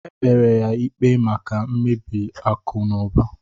Ekpere ya ikpe maka mmebi akụ na ụba